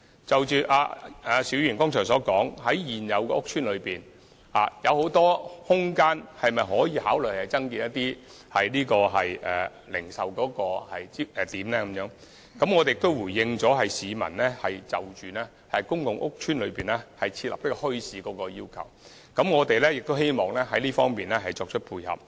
就邵議員剛才詢問，現有的屋邨中有很多空間，是否可以考慮增設一些零售點呢？我亦回應了市民希望在公共屋邨內設立墟市的要求，我們亦希望在這方面作出配合。